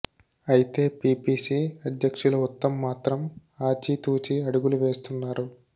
అయితే పిపిసి అధ్యక్షులు ఉత్తమ్ మాత్రం ఆచితూచీ అడుగులు వేస్తున్నారు